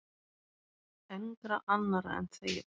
Engra annarra en þeirra.